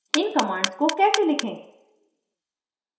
इन commands को कैसे लिखें: